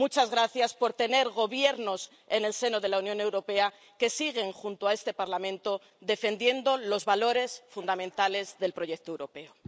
Muchas gracias por tener gobiernos en el seno de la Unión Europea que siguen, junto a este Parlamento, defendiendo los valores fundamentales del proyecto europeo.